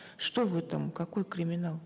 что в этом какой криминал